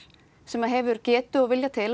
sem hefur getu og vilja til